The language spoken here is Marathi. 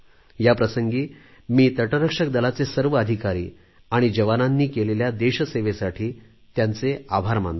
या प्रसंगी मी तटरक्षक दलाचे सर्व अधिकारी आणि जवानांनी केलेल्या देशसेवेसाठी त्यांचे आभार मानतो